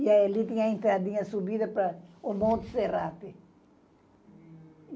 E ali tem a entradinha subida para o Monte Serrape.